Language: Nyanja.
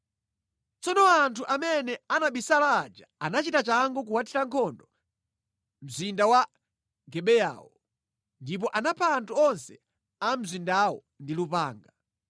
Tsono anthu amene anabisala aja anachita changu kuwuthira nkhondo mzinda wa Gibeyawo. Ndipo anapha anthu onse a mu mzindawo ndi lupanga.